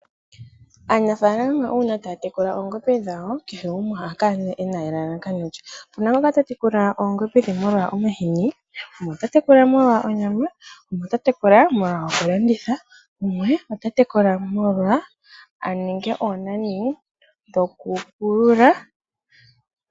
Aanafaalama uuna taya tekula oongombe dhawo kehe gumwe ohakala nee ena elalakano lye. Opuna ngoka ta tekula oongombe molwa omahini ,gumwe ota tekula molwa onyama ,gumwe ota twkula molwa okulanditha, gumwe ota tekula molwa aninge onani ye yoku pulula.